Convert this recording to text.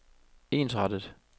ensrettet